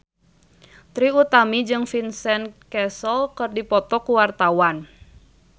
Trie Utami jeung Vincent Cassel keur dipoto ku wartawan